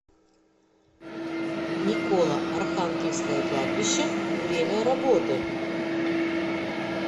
николо архангельское кладбище время работы